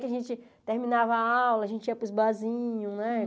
Que a gente terminava a aula, a gente ia para os barzinhos, né?